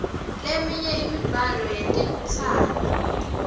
leminye emidlalo yetelutsandvo